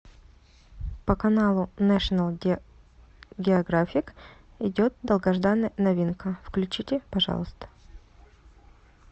по каналу нэшнл географик идет долгожданная новинка включите пожалуйста